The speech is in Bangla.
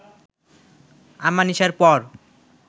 আমানিশার পর